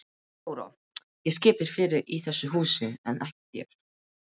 THEODÓRA: Ég skipa fyrir í þessu húsi en ekki þér.